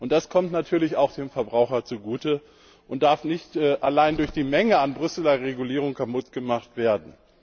Das kommt natürlich auch dem Verbraucher zugute und darf nicht allein durch die Menge an Brüsseler Regulierungen kaputtgemacht werden.